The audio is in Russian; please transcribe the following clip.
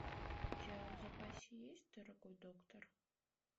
у тебя в запасе есть дорогой доктор